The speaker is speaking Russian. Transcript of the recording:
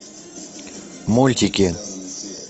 мультики